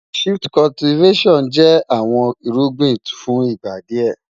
Shift Cultivattion jẹ́ àwọn ìrùgbìn fún ìgbà díẹ́.